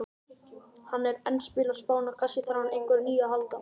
Hann er enn að spila á Spáni, kannski þarf hann á einhverju nýju að halda?